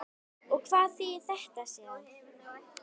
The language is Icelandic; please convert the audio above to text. Og hvað þýðir þetta síðan?